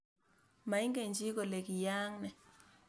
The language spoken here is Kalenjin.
Maingechi kole kiyaak ne